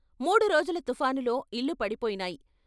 మూడు రోజుల తుఫానులో ఇళ్ళు పడిపోయినాయి.